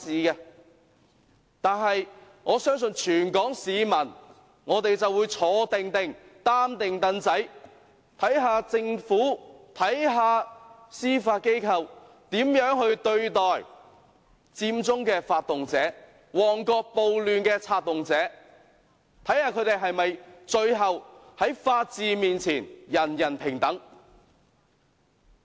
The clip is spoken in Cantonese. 不過，我相信全港市民會"坐定定，擔定櫈仔"，看看政府、看看司法機構如何對待佔中的發動者和旺角暴亂的策動者，看看他們最後會否在法律面前，人人平等。